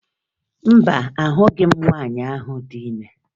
Mba, ahụghị m nwaanyị ahụ dị ime